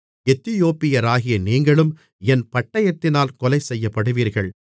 எத்தியோப்பியராகிய நீங்களும் என் பட்டயத்தினால் கொலைசெய்யப்படுவீர்கள்